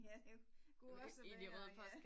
Ja det kunne også være ja